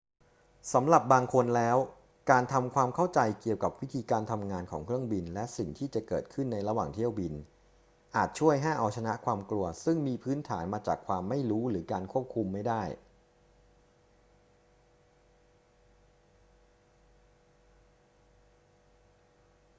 สำหรับบางคนแล้ว การทำความเข้าใจเกี่ยวกับวิธีการทำงานของเครื่องบินและสิ่งที่จะเกิดขึ้นในระหว่างเที่ยวบิน อาจช่วยให้เอาชนะความกลัวซึ่งมีพื้นฐานมาจากความไม่รู้หรือการควบคุมไม่ได้